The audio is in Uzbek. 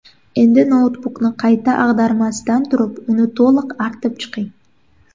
Endi noutbukni qayta ag‘darmasdan turib, uni to‘liq artib chiqing.